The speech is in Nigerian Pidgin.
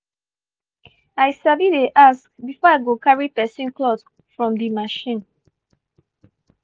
i sabi dey ask before i go carry person cloth from di machine.